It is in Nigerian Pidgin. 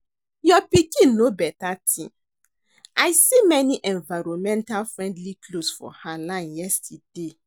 Your pikin know beta thing. I see many environmental friendly cloths for her line yesterday